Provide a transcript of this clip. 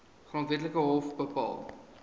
grondwetlike hof bepaal